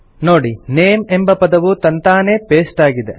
ನೋಡಿ ನೇಮ್ ಎಂಬ ಪದವು ತಂತಾನೇ ಪೆಸ್ಟ್ ಆಗಿದೆ